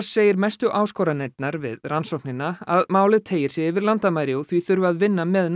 segir mestu áskoranirnar við rannsóknina að málið teygir sig yfir landamæri og því þurfi að vinna með